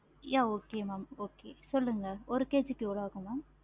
yeah okay mam okay சொல்லுங்க ஒரு KG க்கு எவ்வளோ ஆகும் mam